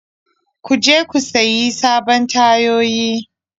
Ku je ku sayi sabbin tayoyi.